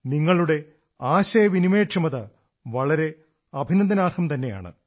നിങ്ങളുടെ ആശയവിനിമയ ക്ഷമത വളരെ അഭിനന്ദനാർഹം തന്നെയാണ്